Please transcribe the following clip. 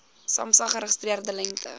samsa geregistreerde lengte